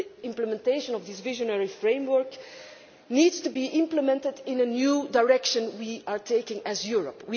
The implementation of this visionary framework needs to be implemented in the new direction we are taking as Europe.